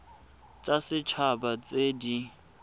tsa set haba tse di